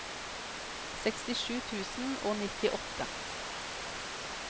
sekstisju tusen og nittiåtte